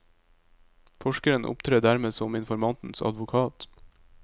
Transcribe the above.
Forskeren opptrer dermed som informantens advokat.